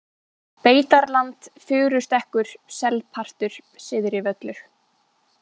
Beitarland, Furustekkur, Selpartur, Syðri-Völlur